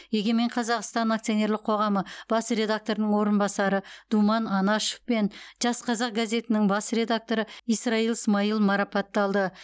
егемен қазақстан акционерлік қоғамы бас редакторының орынбасары думан анашов пен жас қазақ газетінің бас редакторы исраил смаил марапатталды